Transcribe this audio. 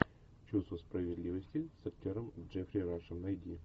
чувство справедливости с актером джеффри рашем найди